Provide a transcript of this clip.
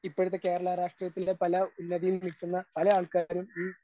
ഇപ്പോഴത്തെ കേരളരാഷ്ട്രീയത്തിന്റെ പല ഉന്നതിയിൽ നിൽക്കുന്ന പല ആൾക്കാരും ഈ